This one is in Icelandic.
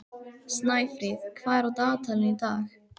Snæfríð, hvað er á dagatalinu í dag?